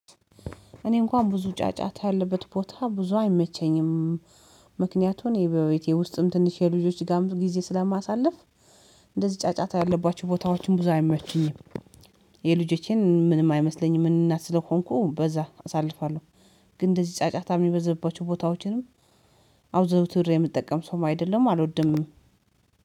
እኔ እንኳን ብዙ ጫጫታ ያለበት ቦታ ብዙ አይመቸኝም። ምክንያቱን በቤት ውስጥም ትንሽ ከልጆች ጋር ጊዜ ስለማሳልፍ እንደዚህ ጫጫታ ያለባችሁ ቦታዎችን ብዙ አይመሏችሁኝም። የልጆቼን ምንም አይመስለኝም እና ስለሆንኩ በዛ አሳልፋለሁ። ግን እንደዚህ ጫጫታ የሚበዘብባቸው ቦታዎቼንም አውዘውትር የሚጠቀም ሰው አይደለም አልወድም።